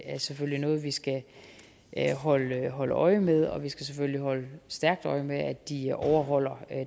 er selvfølgelig noget vi skal holde holde øje med og vi skal selvfølgelig holde skarpt øje med at de overholder